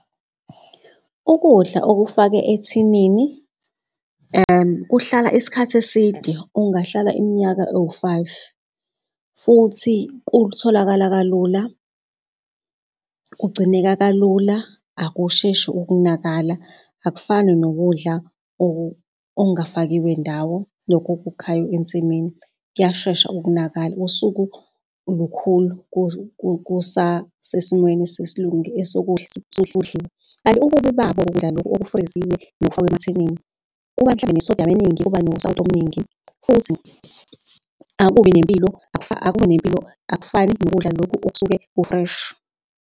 Ukudla okufake ethinini, kuhlala isikhathi eside ungahlala iminyaka ewu-five futhi kutholakala kalula. Kugcineka kalula, akusheshi ukunakala akufani nokudla okungafakiwe ndawo lokhu okukhayo ensimini kuyashesha ukunakala usuku lukhulu kusasemweni . Kanti ububi babo ukudla lokhu okufriziwe nokufakwe emathinini kuba mhlampe ne-sodium kuba nosawoti omningi futhi akubi nempilo akufani nokudla lokhu okusuke ku-fresh.